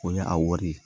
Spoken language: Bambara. O ye a wari ye